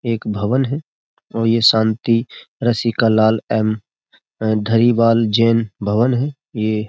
एक भवन है और ये शांति रसिका लाल एम धरीवाल जैन भवन है ये --